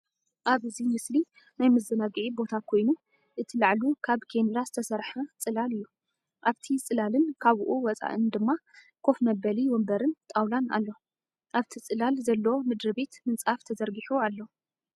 ኣብ እዚ ምስሊ ናይ ምዘናግዒ ቦታ ኮይኑ እቲ ላዕሉ ካብ ኬንዳ ዝተሰርሐ ጽላል እዩ። ኣብቲ ጽላልን ካብኡ ወጻኢን ድማ ኮፍ መበሊ ወንበርን ጣውላን ኣለዉ። ኣብቲ ጽላል ዘሎ ምድርቤት ምንጻፍ ተዘርጊሑ ኣሎ።